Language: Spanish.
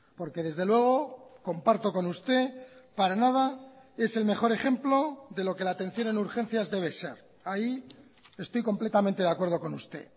porque desde luego comparto con usted para nada es el mejor ejemplo de lo que la atención en urgencias debe ser ahí estoy completamente de acuerdo con usted